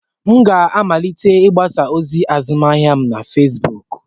M ga-amalite mgbasa ozi azụmahịa m na Fezbuuku.